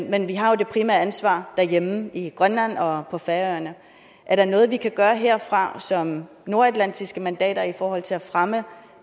men vi har jo det primære ansvar derhjemme i grønland og på færøerne er der noget vi kan gøre herfra som nordatlantiske mandater i forhold til at fremme